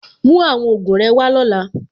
Mú àwọn ògùn rẹ wá lọ́la.